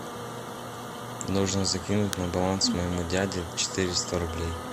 нужно закинуть на баланс моему дяде четыреста рублей